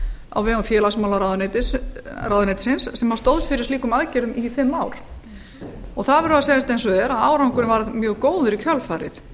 á vegum félagsmálaráðuneytisins sem stóð fyrir slíkum aðgerðum í fimm ár og það verður að segjast eins og er að árangurinn varð mjög góður í kjölfarið